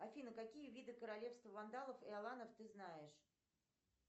афина какие виды королевства вандалов и аланов ты знаешь